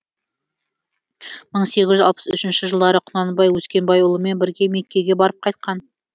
мың сегіз жүз алпыс үшінші жылдары құнанбай өскенбайұлымен бірге меккеге барып қайтқан